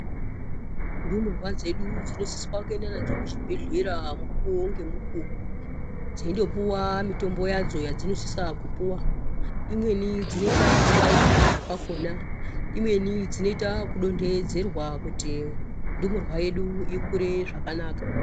Ndumurwa dzinosise kuendwa nadzo kuchibhedhleya mukuwo ngemukuwo dzeindopuwa mutombo yadzo yadzinosise kupuwa ,dzimweni dzinosise kubairwa kakona dzimweni dzinoite kudondedzerwa kuti ndumurwa yedu ikure zvakanaka .